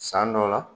San dɔ la